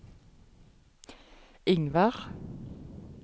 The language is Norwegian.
Ingvard